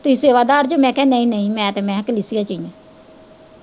ਤੁਹੀਂ ਸੇਵਾਦਾਰ ਜੀ ਮੈਂ ਕਿਹਾ ਨਾ ਨਾ ਮੈਂ ਤਾਂ ਮੈਂ ਕਲੇਸ਼ੀਅਰ ਸੀ।